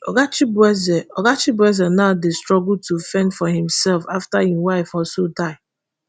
oga chibueze oga chibueze now dey struggle to fend for imsef after im wife also die